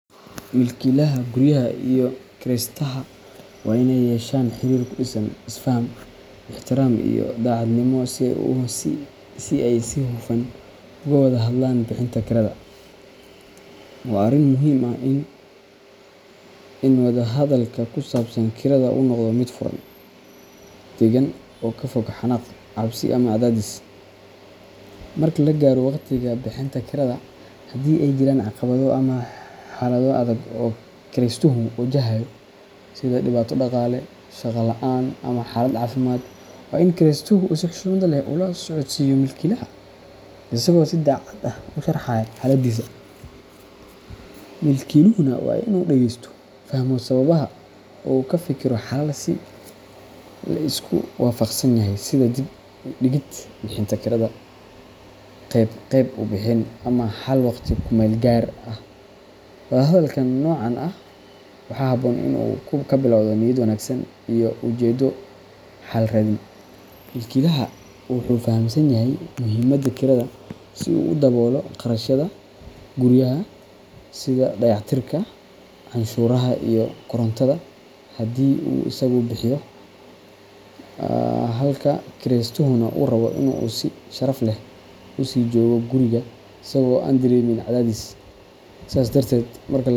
Milkiilaha guryaha iyo kiraystaha waa in ay yeeshaan xiriir ku dhisan is-faham, ixtiraam iyo daacadnimo si ay si hufan uga wada hadlaan bixinta kirada. Waa arrin muhiim ah in wada-hadalka ku saabsan kirada uu noqdo mid furan, deggan, oo ka fog xanaaq, cabsi ama cadaadis. Marka la gaaro waqtiga bixinta kirada, haddii ay jiraan caqabado ama xaalado adag oo kiraystuhu wajahayo, sida dhibaato dhaqaale, shaqo la’aan ama xaalad caafimaad, waa in kiraystuhu si xushmad leh ula socodsiiyo milkiilaha, isagoo si daacad ah u sharraxaya xaaladdiisa. Milkiiluhuna waa in uu dhageysto, fahmo sababaha, oo uu ka fekero xalal la isku waafaqsan yahay sida dib u dhigid bixinta kirada, qeyb qeyb u bixin, ama xal waqti ku-meel-gaar ah. Wada hadalka noocan ah waxaa habboon in uu ka bilowdo niyad wanaagsan iyo ujeeddo xal raadin. Milkiilaha wuxuu fahamsan yahay muhiimadda kirada si uu u daboolo kharashyada guryaha, sida dayactirka, canshuuraha, iyo korontada haddii uu isagu bixiyo, halka kiraystuhuna uu rabo in uu si sharaf leh u sii joogo guriga isagoo aan dareemin cadaadis. Sidaas darteed, marka labada dhinac.